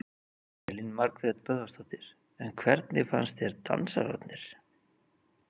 Elín Margrét Böðvarsdóttir: En hvernig fannst þér dansararnir?